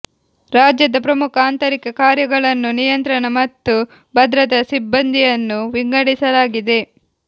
ರಾಜ್ಯದ ಪ್ರಮುಖ ಆಂತರಿಕ ಕಾರ್ಯಗಳನ್ನು ನಿಯಂತ್ರಣ ಮತ್ತು ಭದ್ರತಾ ಸಿಬ್ಬಂದಿಯನ್ನು ವಿಂಗಡಿಸಲಾಗಿದೆ